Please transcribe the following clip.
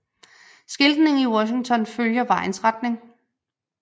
Skiltningen i Washington følger vejens retning